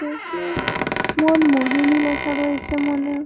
মনমোহিনী লেখা রয়েছে মনে হয়।